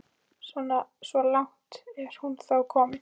Svo langt er hún þó komin.